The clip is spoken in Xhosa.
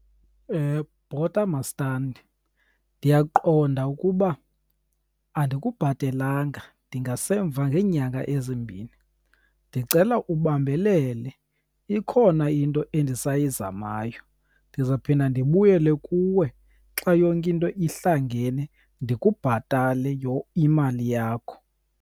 Bhota mastandi, ndiyaqonda ukuba andikubhatelanga, ndingasemva ngenyanga ezimbini. Ndicela ubambelele ikhona into endisayizamayo, ndizawuphinda ndibuyele kuwe xa yonke into ihlangene ndikubhatale imali yakho.